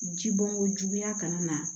Ji bɔn ko juguya kana na